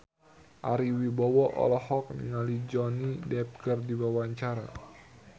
Ari Wibowo olohok ningali Johnny Depp keur diwawancara